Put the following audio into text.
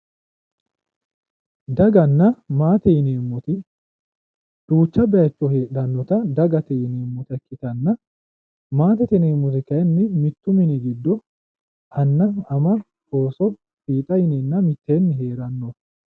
Daganna maate yineemmoti duucha baayiicho heedhannota dagate yinannita ikkitanna maatete yineemmoti kaayinni mittu mini giddo anna, ama, ooso, fiixa yinanna mitteenni heranno.